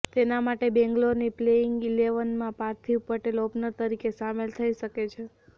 તેના માટે બેંગ્લોરની પ્લેઇંગ ઈલેવનમાં પાર્થિવ પટેલ ઓપનર તરીકે સામેલ થઈ શકે છે